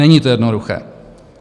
Není to jednoduché.